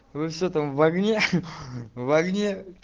вы все что там в огне в огне